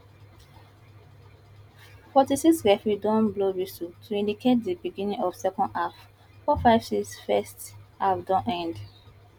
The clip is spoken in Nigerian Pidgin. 46 referee don blow whistle to indicate di beginning of second half 459 first half don end